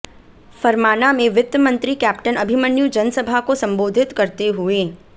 फरमाना में वित्त मंत्री कैप्टन अभिमन्यु जनसभा को संबोधित करते हुए